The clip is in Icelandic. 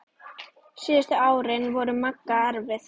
Síðustu árin voru Magga erfið.